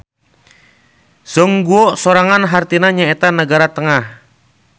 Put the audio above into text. Zhongguo sorangan hartina nyaeta nagara tengah.